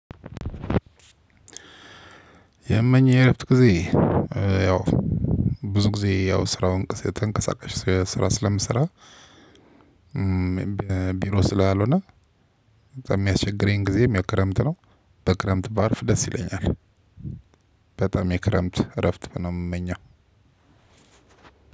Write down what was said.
የመኝ የእረፍት ጊዜ ያው ብዙ ጊዜ ያው ስራውን እንቅስቃሴ ተንቀሳቀሽ ስራ ስለምሰራ ቢሮ ስላልሆነ የሚያስቸግረኝ ጊዜ የሚያክረምት ነው በክረምት በአርፍ ደስ ይለኛል። በጣም የክረምት እረፍት ነው የምመኘው